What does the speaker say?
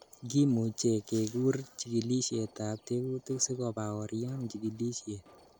Kimuche kekur chikilisietab tekutik sikobaorian chikilisiet